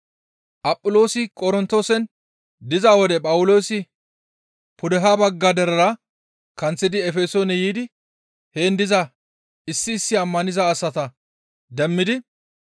Aphiloosi Qorontoosen diza wode Phawuloosi pudeha bagga derera kanththidi Efesoone yiidi heen diza issi issi ammaniza asata demmidi,